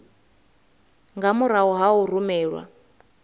nga murahu ha u rumelwa